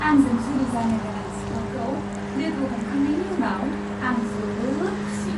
आंजों जुलि जानो गोनां सिख्लाखौ लोगो हमखांनायनि उनाव आं जोबोद खुसि।